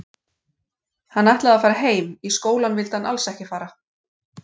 Hann ætlaði að fara heim, í skólann vildi hann alls ekki fara.